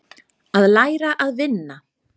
Að læra að vinna